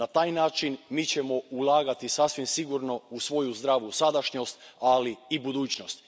Na taj način, mi ćemo ulagati sasvim sigurno u svoju zdravu sadašnjost, ali i budućnost.